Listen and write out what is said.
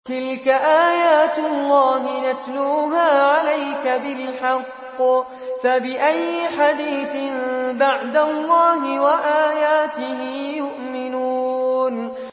تِلْكَ آيَاتُ اللَّهِ نَتْلُوهَا عَلَيْكَ بِالْحَقِّ ۖ فَبِأَيِّ حَدِيثٍ بَعْدَ اللَّهِ وَآيَاتِهِ يُؤْمِنُونَ